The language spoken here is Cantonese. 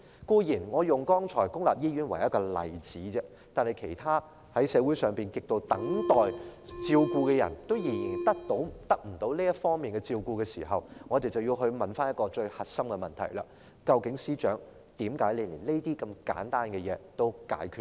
當然，我剛才只是以公立醫院為例子而已，社會上還有其他亟待照顧的人仍得不到相關照顧，所以，我們要問最核心的問題：究竟司長為何連這些簡單的問題也解決不了？